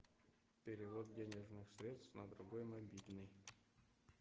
перевод денежных средств на другой мобильный